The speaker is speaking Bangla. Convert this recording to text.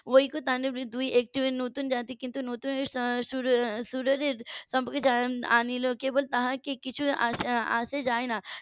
ঐক্য . নতুন জাতি কিন্তু নতুন আনলো কেবল তাকে কিছু আ~ আসে যায় না